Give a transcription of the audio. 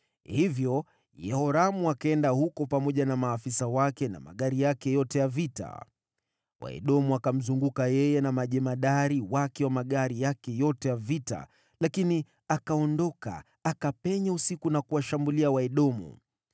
Basi Yehoramu akaenda huko pamoja na maafisa wake na magari yake ya vita. Waedomu wakamzunguka yeye na majemadari wake wa magari yake ya vita, lakini akaondoka, akapenya usiku na kuwashambulia Waedomu.